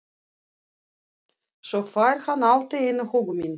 Svo fær hann allt í einu hugmynd.